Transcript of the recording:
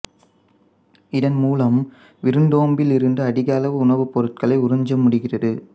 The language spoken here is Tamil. இதன் மூலம் விருந்தோம்பியிலிருந்து அதிக அளவு உணவுப்பொருட்களை உறிஞ்ச முடிகிறது